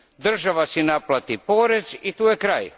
Država si naplati porez i tu je kraj.